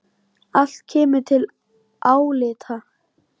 Allt kemur til álita.